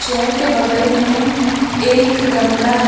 के बगल में एक गमला हैं।